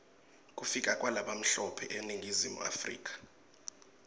kufika kwalabamhlope eningizimu africa